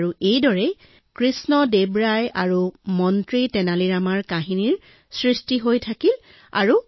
আৰু এইদৰে ৰজা কৃষ্ণ দেৱ ৰায় আৰু মন্ত্ৰী তেনালীৰ ৰামাৰ কাহিনী মানুহে শুনি আহিছে